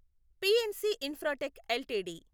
PNC Infratech LTD